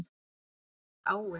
Hver er áin?